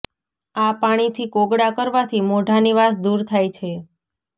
આ પાણીથી કોગળા કરવાથી મોઢાની વાસ દૂર થાય છે